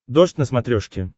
дождь на смотрешке